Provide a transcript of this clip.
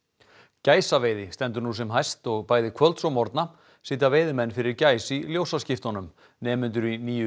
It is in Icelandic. gæsaveiði stendur nú sem hæst og bæði kvölds og morgna sitja veiðimenn fyrir gæs í ljósaskiptunum nemendur í nýju